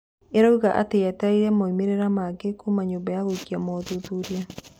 ĩrauga atĩ yetereire moimĩrĩra mangĩ kuuma nyũmba ya gũĩka mothuthuria.